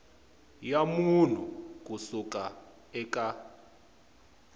ya munhu ku suka eka